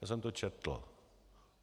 Já jsem to četl.